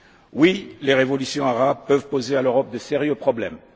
Oui, les révolutions arabes peuvent poser à l'Europe de sérieux problèmes.